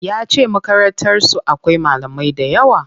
Yace Makarantar su akwai malamai dayawa.